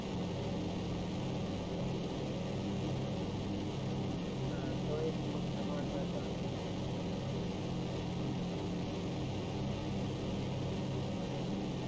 drinking म्हणजे drinking store करायला जे coo ling लागत ते सुद्धा या फ्रिज मध्ये अं हो sir म्हणूच सांगितलं मी कि